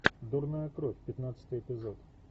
дурная кровь пятнадцатый эпизод